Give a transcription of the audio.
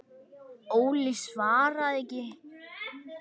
Óli svaraði ekki.